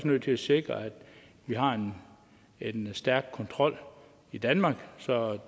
nødt til at sikre at vi har en stærk kontrol i danmark så